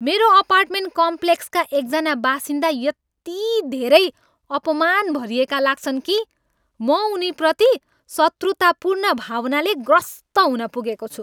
मेरो अपार्टमेन्ट कम्प्लेक्सका एकजना बासिन्दा यति धेरै अपमान भरिएका लाग्छन् कि म उनीप्रति शत्रुतापूर्ण भावनाले ग्रस्त हुन पुगेको छु।